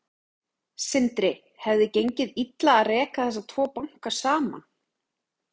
Sindri: Hefði gengið illa að reka þessa tvo banka saman?